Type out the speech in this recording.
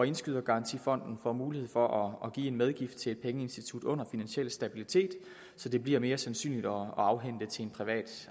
indskydergarantifonden får mulighed for at give en medgift til et pengeinstitut under finansiel stabilitet så det bliver mere sandsynligt at kunne afhænde det til en privat